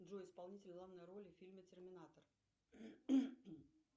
джой исполнитель главной роли в фильме терминатор